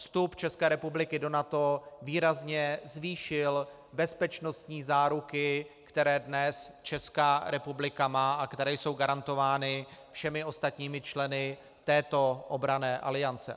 Vstup České republiky do NATO výrazně zvýšil bezpečnostní záruky, které dnes Česká republika má a které jsou garantovány všemi ostatními členy této obranné aliance.